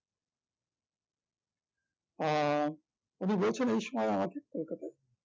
আহ উনি বলছেন এই সময়ে আমাকে কলকাতায়